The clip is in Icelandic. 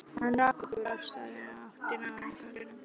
Hún rak okkur af stað í áttina að ranghölunum.